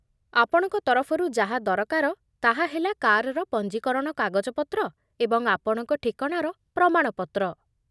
ଆପଣଙ୍କ ତରଫରୁ ଯାହା ଦରକାର ତାହା ହେଲା କାର୍‌ର ପଞ୍ଜୀକରଣ କାଗଜପତ୍ର ଏବଂ ଆପଣଙ୍କ ଠିକଣାର ପ୍ରମାଣ ପତ୍ର।